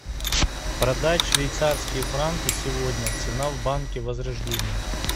продать швейцарские франки сегодня цена в банке возрождение